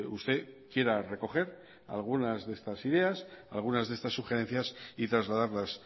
usted quiera recoger algunas de estas ideas algunas de estas sugerencias y trasladarlas